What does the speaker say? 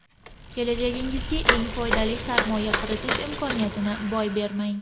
Kelajagingizga eng foydali sarmoya kiritish imkoniyatini boy bermang.